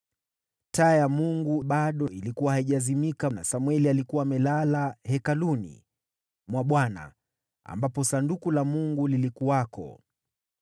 Taa ya Mungu bado ilikuwa haijazimika, na Samweli alikuwa amelala Hekaluni mwa Bwana , ambapo Sanduku la Mungu lilikuwako.